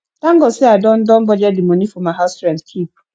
thank god say i don don budget the money for my house rent keep